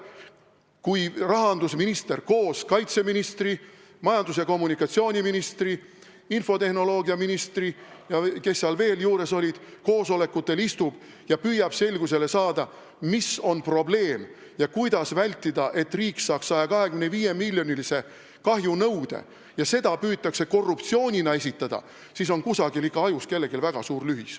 Kui rahandusminister koos kaitseministri, majandus- ja kommunikatsiooniministri, infotehnoloogiaministri ja kellega veel, kes seal juures olid, koosolekutel istub ja püüab selgusele jõuda, mis on probleem ja kuidas vältida seda, et riik saaks 125-miljonilise kahjunõude, aga seda püütakse korruptsioonina esitada, siis on kellelgi kusagil ikka ajus väga suur lühis.